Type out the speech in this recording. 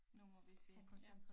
Nu må vi se ja